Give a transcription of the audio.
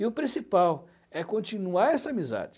e o principal é continuar essa amizade.